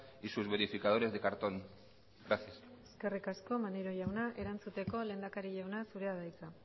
y sus verificadores de cartón gracias eskerrik asko maneiro jauna erantzuteko lehendakari jauna zurea da hitza